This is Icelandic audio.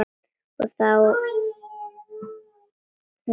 Og þá hún þú.